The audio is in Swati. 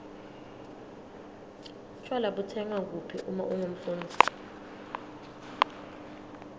tjwala butsengwa kuphi uma ungumfundzi